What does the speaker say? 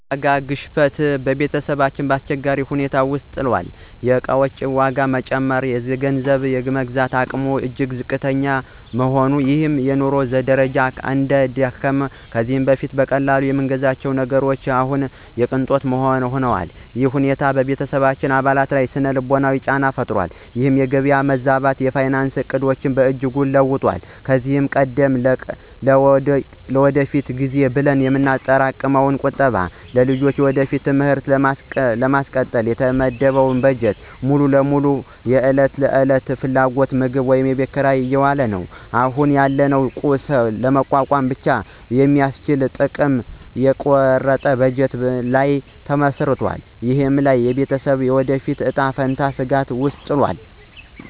የዋጋ ግሽበት ቤተሰባችንን በአስቸጋሪ ሁኔታ ውስጥ ጥሏል። የዕቃዎች ዋጋ በመጨመሩ፣ የገንዘባችን የመግዛት አቅም እጅግ ዝቅ ብሏል፤ ይህም የኑሮ ደረጃችንን አዳክሟል። ከዚህ በፊት በቀላሉ የምንገዛቸው ነገሮች አሁን የቅንጦት ሆነዋል። ይህ ሁኔታ በቤተሰባችን አባላት ላይ ሥነ-ልቦናዊ ጫና ፈጥሯል። ይህ የገበያ መዛባት የፋይናንስ ዕቅዳችንን በእጅጉ ለውጦታል። ከዚህ ቀደም ለውድቀት ጊዜ ብለን የምናጠራቅመው ቁጠባ እና የልጆቻችንን የወደፊት ትምህርት ለማስቀጠል የተመደበው በጀት ሙሉ በሙሉ ማለት ይቻላል ለዕለት ተዕለት ፍላጎቶች (ምግብ፣ ኪራይ) እየዋለ ነው። አሁን ያለውን ቀውስ ለመቋቋም ብቻ በሚያስችል ጥብቅ የቁርጥ ቀን በጀት ላይ ተመስርተናል። ይህም የቤተሰባችንን የወደፊት እጣ ፈንታ ስጋት ውስጥ ጥሏል።